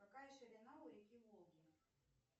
какая ширина у реки волги